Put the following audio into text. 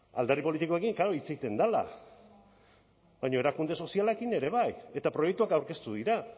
alderdi politikoekin klaro hitz egiten dela baina erakunde sozialekin ere bai eta proiektuak aurkeztu dira